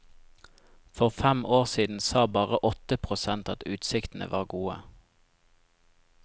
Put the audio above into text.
For fem år siden sa bare åtte prosent at utsiktene var gode.